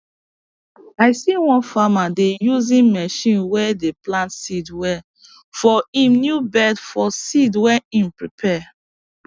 i see one farmer dey using machine way dey plant seed well for him new bed for seed way him prepare